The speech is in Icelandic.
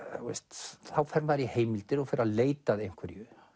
þá fer maður í heimildir og fer að leita að einhverju